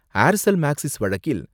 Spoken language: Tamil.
ஏர்செல் மேக்ஸிஸ் வழக்கில்